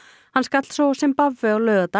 hann skall svo á Simbabve á laugardag